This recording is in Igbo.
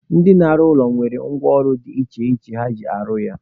Ndị na-arụ ụlọ nwere ngwa ọrụ dị iche iche ha ji arụ ya.